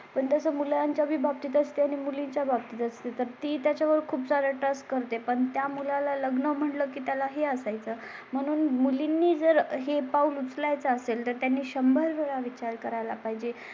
त्याचा मुलांच्या विभाग तिथे असते आणि मुलींच्या बाबतीत असतील तर ती त्याच्या वर खूप झाला तेज करते. पण त्या मुला ला लग्न म्हटलं की त्या लाही असाय चा म्हणून मुलींनी जर हे पाऊल उचलायचं असेल तर त्यांनी शंभर वेळा विचार करायला पाहिजे